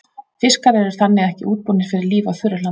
Fiskar eru þannig ekki útbúnir fyrir líf á þurru landi.